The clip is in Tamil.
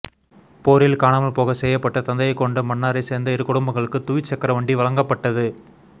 போரில் காணமல் போகச்செய்யப்பட்ட தந்தையைகொண்ட மன்னாரைசேர்ந்த இரு குடும்பங்களுக்கு துவிச்சக்கரவண்டி வழங்கப்பட்டது